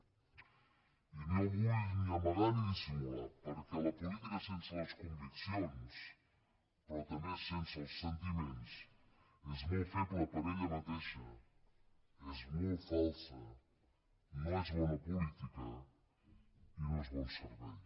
i no ho vull ni amagar ni dissimular perquè la política sense les conviccions però també sense els sentiments és molt feble per ella mateixa és molt falsa no és bona política i no és bon servei